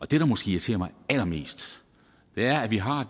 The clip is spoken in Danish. det der måske irriterer mig allermest er at vi har